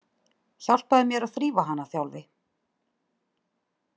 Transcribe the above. Hjálpaðu mér að þrífa hana, Þjálfi